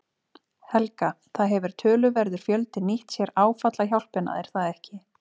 Helga: Það hefur töluverður fjöldi nýtt sér áfallahjálpina er það ekki?